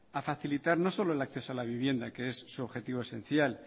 a facilitar no solo el acceso a la vivienda que es su objetivo esencial